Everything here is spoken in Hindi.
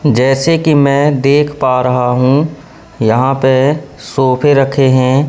जैसे कि मैं देख पा रहा हूं यहां पे सोफे रखे हैं।